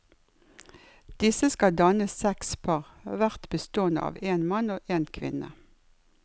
Disse skal danne seks par, hvert bestående av en mann og en kvinne.